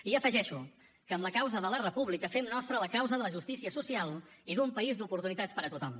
i afegeixo que amb la causa de la república fem nostra la causa de la justícia social i d’un país d’oportunitats per a tothom